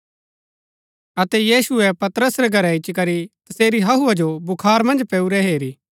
अतै यीशुऐ पतरस रै घरै इच्ची करी तसेरी हहुआ जो बुखार मन्ज पैऊरी हेरु